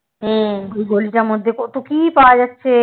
ওই গলিটার মধ্যে কত কি পাওয়া যাচ্ছে